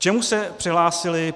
K čemu se přihlásili?